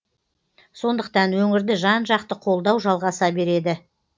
сондықтан өңірді жан жақты қолдау жалғаса береді